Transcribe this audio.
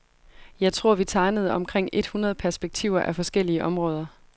Jeg tror vi tegnede omkring et hundrede perspektiver af forskellige områder.